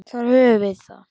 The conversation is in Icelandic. Þar höfum við það.